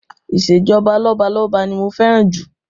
Ìṣèjọba lọ́balọ́ba ni mo fẹ́ràn jù